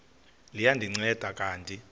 liya ndinceda kanti